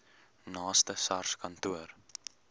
naaste sars kantoor